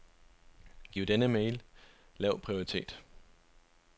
Giv denne e-mail lav prioritet.